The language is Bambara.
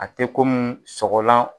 A te komi sɔgɔlan